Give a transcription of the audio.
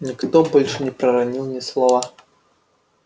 никто больше не проронил ни слова